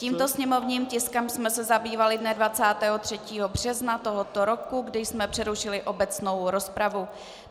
Tímto sněmovním tiskem jsme se zabývali dne 23. března tohoto roku, kdy jsme přerušili obecnou rozpravu.